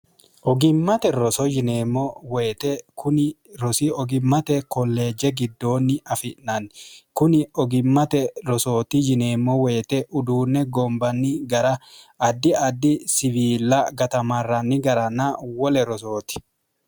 ogimmate roso yineemmo woyite kuni rosi ogimmate kolleejje giddoonni afi'nanni kuni ogimmate rosooti yineemmo woyite uduunne goombanni gara addi addi siwiila gatamarranni garana wole rosooti